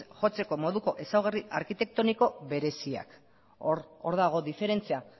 jotzeko moduko ezaugarri arkitektoniko bereziak hor dago diferentzia